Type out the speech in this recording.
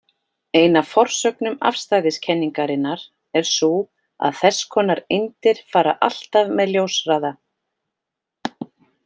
Ein af forsögnum afstæðiskenningarinnar er sú að þess konar eindir fara alltaf með ljóshraða.